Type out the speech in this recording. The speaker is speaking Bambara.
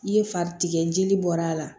I ye fari tigɛ jeli bɔra a la